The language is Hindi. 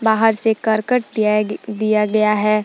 बाहर से करकट दियाग दिया गया है।